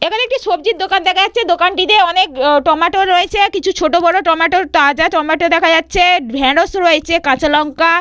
এখানে একটি সবজির দোকান দেখা যাচ্ছে দোকানটিতে অনেক টমেটো রয়েছে কিছু ছোট বড় টমেটো তাজা টমেটো দেখা যাচ্ছে ঢেঁড়স রয়েছে কাঁচা লঙ্কা।